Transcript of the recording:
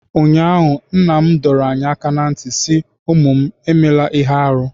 ụnyahụ, nna m dọrọ anyị aka ná ntị sị, unu emela ihe arụ